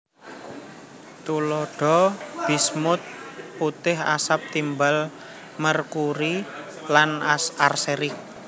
Tuladha bismut putih asap timbal merkuri lan arsenik